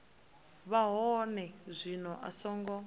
vha hone zwino a songo